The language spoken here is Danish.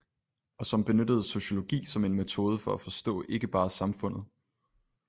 Og som benyttede sociologi som en metode for at forstå ikke bare samfundet